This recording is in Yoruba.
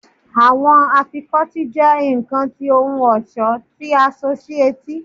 Awọn afikọti jẹ nkan ti ohun ọṣọ ti a so si eti